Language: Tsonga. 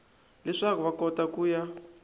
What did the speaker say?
leswaku va kota ku ya